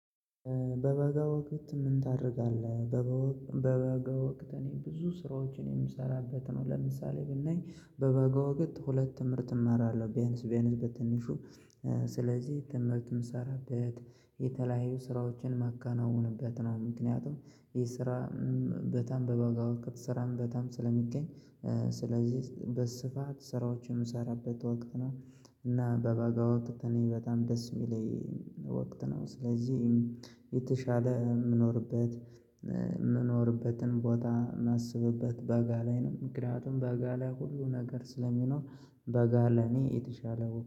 በበጋ ወቅት ምን ታደርጋለህ? በበጋ ወቅት እኔ ብዙ ስራዎችን የምሰራበት ነው ለምሳሌ ብናይ በበጋ ወቅት ሁለት ትምህርት እማራለሁ ቢያንስ ቢያንስ በትንሹ ስለዚህ ትምህርትም ምሰራበት የተለያዩ ስራዎችን ማከናወንበት ነው ምክንያቱም የስራ ቦታ በበጋ ወቅት ስራ በጣም ስለሚገኝ ስለዚህ በስፋት ስራዎችን የምሰራበት ወቅት ነው። እና በበጋ ወቅት እኔ በጣም ደስ የሚለኝ ወቅት ነው ስለዚህ የተሻለ የምኖርበት የምኖርበትን ቦታ የማስብበት በጋ ላይ ነው ምክንያቱም በጋ ላይ ሁሉ ነገር ስለሚኖር በጋ ለኔ የተሻለ